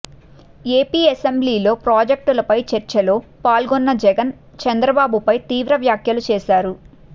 AP అసెంబ్లిలో ప్రాజెక్టులపై చర్చలో పాల్గొన్న జగన్ చంద్రబాబుపై తీవ్ర వ్యాఖ్యలు చేశారు